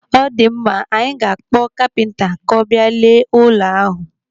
Ọ dịmma, anyị ga-akpọ kapinta ka ọ bịa lee ụlọ ahụ.